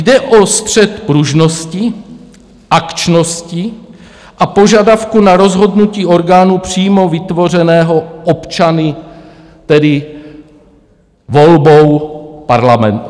Jde o střet pružnosti, akčnosti a požadavku na rozhodnutí orgánu přímo vytvořeného občany, tedy volbou členů parlamentu.